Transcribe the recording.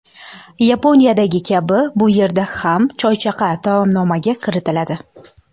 Yaponiyadagi kabi, bu yerda ham choychaqa taomnomaga kiritiladi.